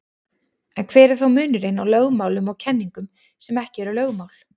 En hver er þá munurinn á lögmálum og kenningum sem ekki eru lögmál?